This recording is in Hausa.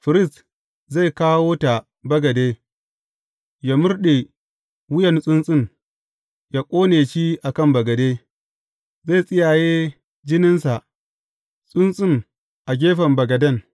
Firist zai kawo ta bagade, yă murɗe wuyan tsuntsun yă ƙone shi a kan bagade; zai tsiyaye jininsa tsuntsun a gefen bagaden.